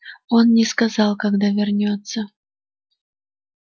он не сказал когда вернётся